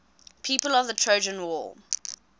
people of the trojan war